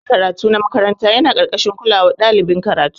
Dakin karatu na makaranta yana karkashin kolawan ɗalibin karatu.